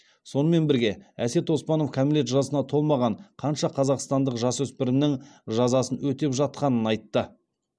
сонымен бірге әсет оспанов кәмелет жасына толмаған қанша қазақстандық жасөспірімнің жазасың өтеп жатқанын айтты